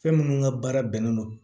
Fɛn minnu ka baara bɛnnen don